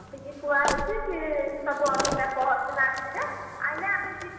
ଥୁଆ ହେଇଛି ସିଏ ସବୁ ଅନିତା ପଅର ଦିନ ଆସିବେ ଆଇଲେ ଆମେ ଯିବୁ